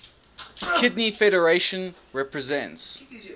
kidney federation represents